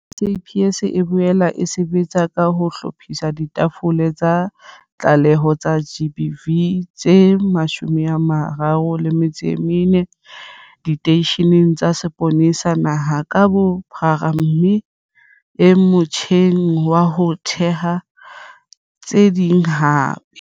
SAPS e boela e sebetsa ka ho hlophisa ditafole tsa ditlaleho tsa GBV tse 134 diteisheneng tsa sepolesa naha ka bophara mme e motjheng wa ho theha tse ding hape.